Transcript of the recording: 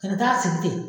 Kana taa sigi ten